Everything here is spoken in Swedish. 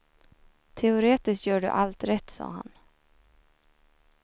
Teoretiskt gör du allt rätt, sa han.